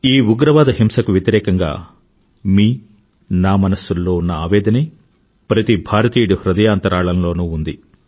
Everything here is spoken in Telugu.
ఈ ఉగ్రవాద హింసకు వ్యతిరేకంగా మీ నా మనసుల్లో ఉన్న ఆవేదనే ప్రతి భారతీయుడి హృదయాంతరాళంలోనూ ఉంది